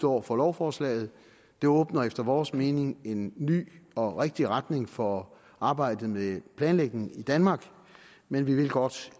over for lovforslaget det åbner efter vores mening en ny og rigtig retning for arbejdet med planlægning i danmark men vi vil godt